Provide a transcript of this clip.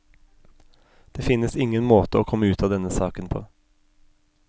Det finnes ingen måte å komme ut av denne saken på.